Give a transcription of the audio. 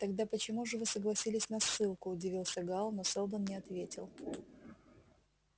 тогда почему же вы согласились на ссылку удивился гаал но сэлдон не ответил